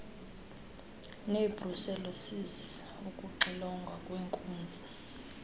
nebrucellosis ukuxilongwa kweenkunzi